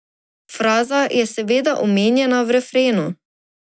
Fraza je seveda omenjena v refrenu.